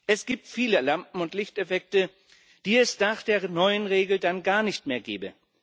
Es gibt viele Lampen und Lichteffekte, die es nach der neuen Regel dann gar nicht mehr gäbe.